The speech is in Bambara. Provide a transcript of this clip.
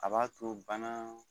A b'a to bana